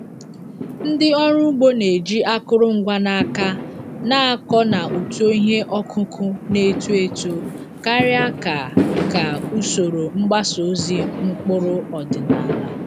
Ndị ọrụ ugbo na-eji akụrụngwa n’aka na-akọ na uto ihe ọkụkụ na-eto eto karịa ka ka usoro mgbasa ozi mkpụrụ ọdịnala.